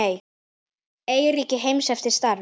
Eyríki heims eftir stærð